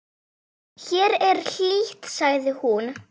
Hér er hlýtt, sagði hún.